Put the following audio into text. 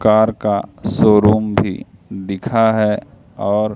car का showroom भी दिखा है और--